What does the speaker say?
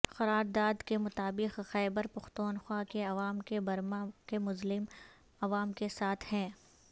قرارداد کے مطابق خیبر پختونخوا کے عوام کے برما کے مظلوم عوام کے ساتھ ہیں